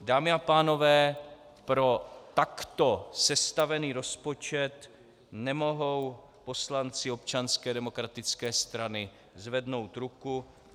Dámy a pánové, pro takto sestavený rozpočet nemohou poslanci Občanské demokratické strany zvednout ruku.